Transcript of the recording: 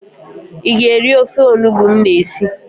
Ị ga-eri ofe onubo m na-esi